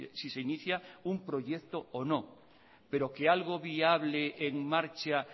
si se inicia un proyecto o no pero que algo viable en marcha